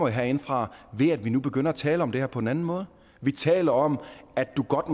herindefra ved at vi nu begynder at tale om det her på en anden måde vi taler om at du godt